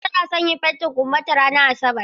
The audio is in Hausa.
Fatima tana son yin fentin ƙumbanta ranar Asabar.